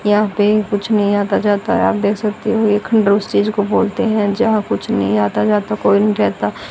यहां पे कुछ नहीं आता जाता है आप देख सकते हों एक खंडर उस चीज को बोलते है जहां कुछ नहीं आता जाता कोई नहीं रहता।